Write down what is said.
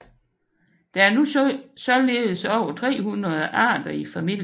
Der er nu således over 300 arter i familien